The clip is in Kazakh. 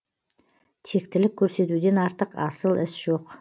тектілік көрсетуден артық асыл іс жоқ